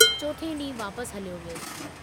चोथें डींहुं वापस हलियो वियुसि।